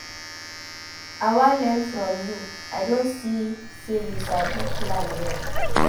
I wan learn from you. I don see say you sabi plan well.